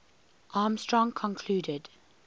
armstrong concluded